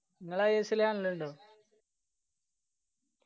ഇങ്ങള് ISL കാണലിണ്ടോ?